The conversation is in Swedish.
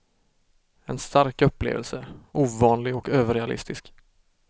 En stark upplevelse, ovanlig och överrealistisk.